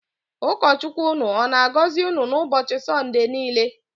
Ụkọ Chukwu ụnụ ọ na-agọzi unu n'ụbọchị Sọnde niile.